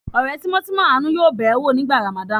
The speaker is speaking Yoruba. Ọ̀rẹ́ tímọ́tímọ́ Àánú yóò bẹ̀ ẹ́ wò nígbà Ramadan.